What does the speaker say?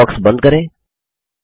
dialogue box बंद करें